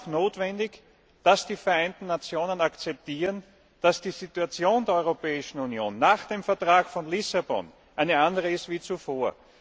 Es ist aber auch notwendig, dass die Vereinten Nationen akzeptieren, dass die Situation der Europäischen Union nach dem Vertrag von Lissabon eine andere ist als zuvor.